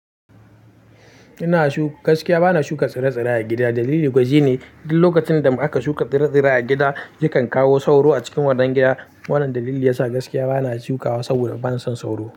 Ina shuka gaskiya bana shuka tsire-tsire a gida. Dalili kuwa shine, duk lokacin da aka shuka tsire-tsire a gida, yakan kawo sauro a cikin wannan gida. Wannan dalili yasa gaskiya bana shukawa saboda bana son sauro.